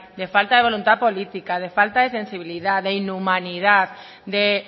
de falta de voluntad política de falta de sensibilidad de inhumanidad de